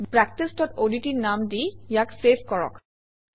practiceঅডট নাম দি ইয়াক চেভ কৰক